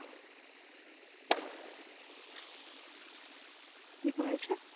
কি করেছে